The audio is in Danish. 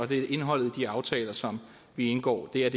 det er indholdet af de aftaler som vi indgår der